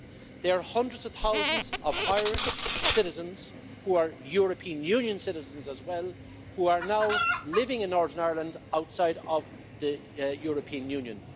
There are hundreds of thousands of Irish citizens who are European Union citizens as well who are now living in Northern Ireland, outside of the European Union.